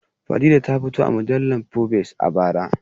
Fadila ta fito a mujallar fobes a bara